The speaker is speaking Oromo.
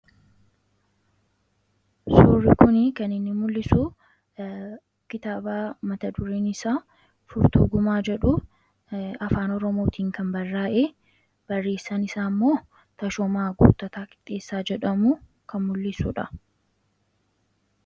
Suurri kun kan inni mul'isu kitaaba mata dureen isaa 'Furtuu Gumaa' jedhu afaan Oromootiin kan barraa'e, barreessaan isaa immoo Tashoomaa Guuttataa Qixxeessaa jedhamu kan mul'isudha.